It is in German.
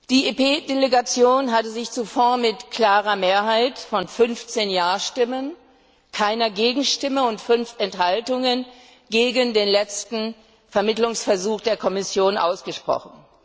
Die EP Delegation hatte sich zuvor mit einer klaren Mehrheit von 15 Ja Stimmen, keiner Gegenstimme und fünf Enthaltungen gegen den letzten Vermittlungsversuch der Kommission ausgesprochen.